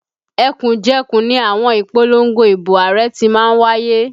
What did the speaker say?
Ẹkùnjẹkùn ni àwọn ìpolongo ibo Ààrẹ ti má ń wáyé